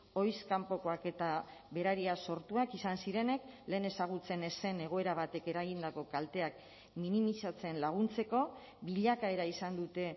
ohiz kanpokoak eta berariaz sortuak izan zirenek lehen ezagutzen ez zen egoera batek eragindako kalteak minimizatzen laguntzeko bilakaera izan dute